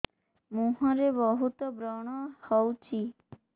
ମୁଁହରେ ବହୁତ ବ୍ରଣ ହଉଛି